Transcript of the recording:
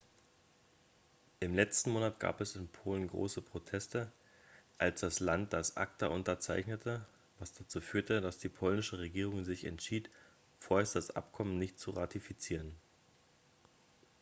im letzten monat gab es in polen große proteste als das land das acta unterzeichnete was dazu führte dass die polnische regierung sich entschied vorerst das abkommen nicht zu ratifizieren